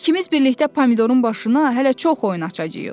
İkimiz birlikdə Pomidorun başına hələ çox oyun açacağıq.